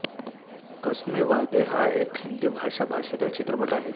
कसमे वादे हा एक हिंदी भाषा भाषेतील चित्रपट आहे